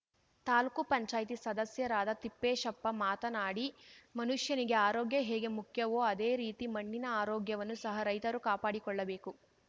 ತಾಲೂಕು ಪಂಚಾಯ್ತಿ ಸದಸ್ಯರಾದ ತಿಪ್ಪೇಶಪ್ಪ ಮಾತನಾಡಿ ಮನುಷ್ಯನಿಗೆ ಆರೋಗ್ಯ ಹೇಗೆ ಮುಖ್ಯವೊ ಅದೆ ರೀತಿ ಮಣ್ಣಿನ ಆರೋಗ್ಯವನ್ನು ಸಹ ರೈತರು ಕಾಪಡಿಕೊಳ್ಳಬೇಕು